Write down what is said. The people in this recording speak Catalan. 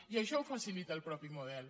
i això ho facilita el mateix model